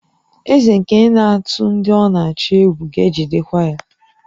Eze nke na-atụ ndị ọ na-achị egwu ga-ejidekwa ya